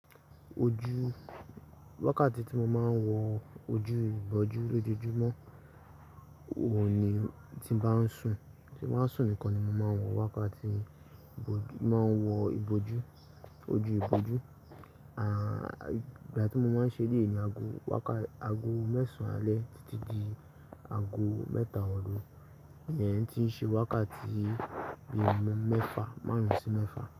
Ojú, wákàtí tí mo máa ń wọ ojú ìbòjú lójoojúmọ́, òuní tí bá ń sùn, tín bá ń sùn nìkan ni mo máa ń wọ wákàtí, máa ń wọ ìbò jú, ojú ìbò ú. À, ìgbàtí mo máa ń ṣe eleyii ni ago wákà-- ago mẹ́sàn-án alẹ́ títí di ago mẹ́ta òru. Ìyẹn tí ń ṣe wákàtí bíi mẹ́fa, márùn-ún sí mẹ́fa.